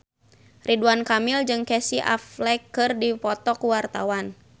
Ridwan Kamil jeung Casey Affleck keur dipoto ku wartawan